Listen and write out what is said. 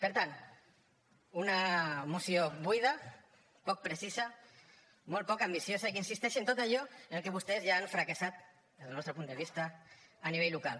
per tant una moció buida poc precisa molt poc ambiciosa i que insisteix en tot allò en què vostès ja han fracassat des del nostre punt de vista a nivell local